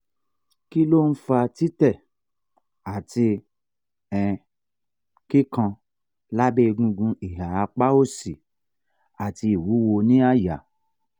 kí ló ń fa tite ati um kikan labe egungun iha apa òsì ati iwuwo ní àyà?